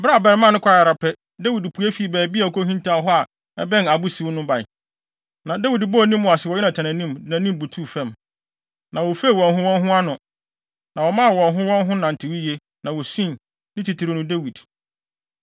Bere a abarimaa no kɔe ara pɛ, Dawid pue fii baabi a okohintaw hɔ a ɛbɛn abo siw no bae. Na Dawid bɔɔ ne mu ase wɔ Yonatan anim, de nʼanim butuw fam. Na wofifew wɔn ho wɔn ho ano, na wɔmaa wɔn ho wɔn ho nantew yiye, na wosui, ne titiriw no, Dawid.